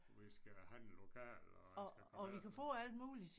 Vi skal handle lokalt og jeg skal komme efter dig